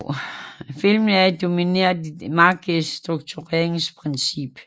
Filmen er domineret af det markerede struktureringsprincip